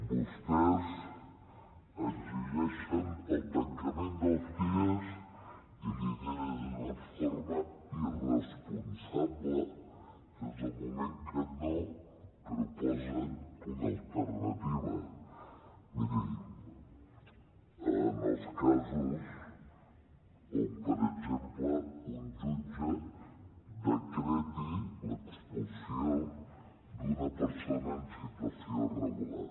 vostès exigeixen el tancament dels cies i li ho diré d’una forma irresponsable des del moment que no proposen una alternativa miri en els casos on per exemple un jutge decreti l’expulsió d’una persona en situació regular